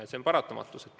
Ja see on paratamatus.